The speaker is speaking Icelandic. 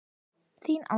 Þín Alda